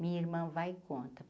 Minha irmã vai e conta.